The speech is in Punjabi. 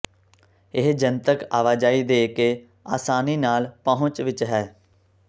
ਇਹ ਜਨਤਕ ਆਵਾਜਾਈ ਦੇ ਕੇ ਆਸਾਨੀ ਨਾਲ ਪਹੁੰਚ ਵਿੱਚ ਹੈ